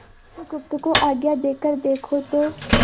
बुधगुप्त को आज्ञा देकर देखो तो